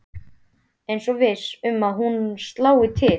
Eins og viss um að hún slái til.